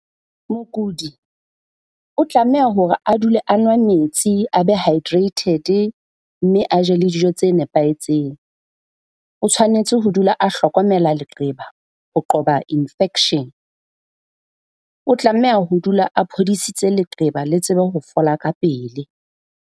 Mokudi o tlameha hore a dule a nwa metsi a be hydrated mme a jele dijo tse nepahetseng. O tshwanetse ho dula a hlokomela leqeba ho qoba infection. O tlameha ho dula a phodisitse leqeba le tsebe ho fola ka pele.